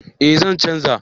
Eh zan canja